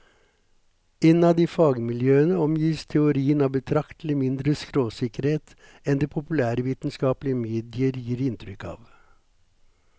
Innad i fagmiljøene omgis teorien av betraktelig mindre skråsikkerhet enn det populærvitenskapelige medier gir inntrykk av.